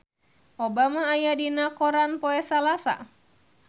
Obama aya dina koran poe Salasa